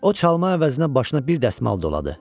O çalmav əvəzinə başına bir dəsmal doladı.